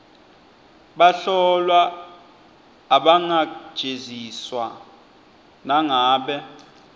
bahlolwa abangajeziswa nangabe